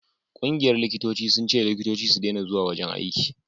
ƙungiyar likitoci sun ce likitoci su dena zuwa wajen aiki